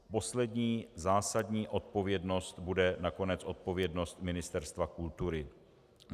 Poslední zásadní odpovědnost bude nakonec odpovědnost Ministerstva kultury.